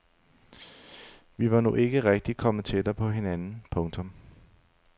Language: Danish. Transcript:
Vi var nu ikke rigtigt kommet tættere på hinanden. punktum